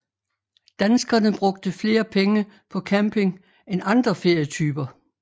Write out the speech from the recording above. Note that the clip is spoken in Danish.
Danskerne brugte flere penge på camping end andre ferietyper